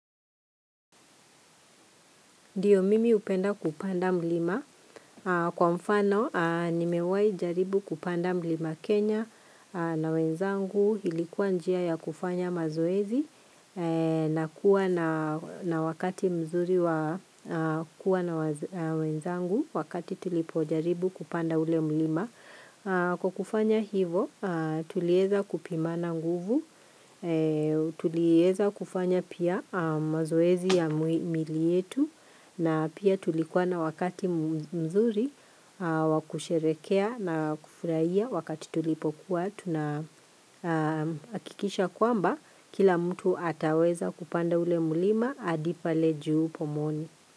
Dio mimi upenda kupanda mlima. Kwa mfano, nimewai jaribu kupanda mlima Kenya na wenzangu ilikuwa njia ya kufanya mazoezi na kuwa na wakati mzuri wa kuwa na wenzangu wakati tulipo jaribu kupanda ule mlima. Kwa kufanya hivo tulieza kupimana nguvu, tulieza kufanya pia mazoezi ya mili yetu na pia tulikuwa na wakati mzuri wakusherekea na kufurahia wakati tulipokuwa tunahakikisha kwamba kila mtu ataweza kupanda ule mlima adi pale juu pomoni.